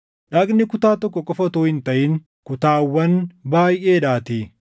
Dhagni kutaa tokko qofa utuu hin taʼin kutaawwan baayʼeedhaatii.